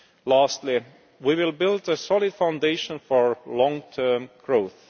Lastly, we will build a solid foundation for long term growth.